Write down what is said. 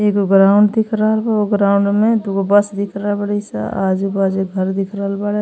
एगो ग्राउंड दिखल बा। उ ग्राउंड में दुगो बस दिखल रहल बाड़ी स। आजू बाजू घर दिख रहल बाड़े।